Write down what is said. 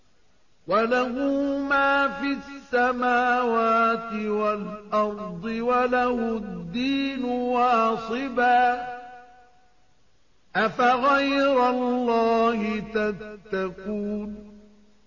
وَلَهُ مَا فِي السَّمَاوَاتِ وَالْأَرْضِ وَلَهُ الدِّينُ وَاصِبًا ۚ أَفَغَيْرَ اللَّهِ تَتَّقُونَ